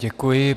Děkuji.